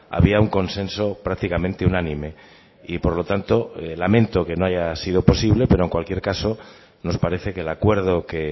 había un consenso prácticamente unánime y por lo tanto lamento que no haya sido posible pero en cualquier caso nos parece que el acuerdo que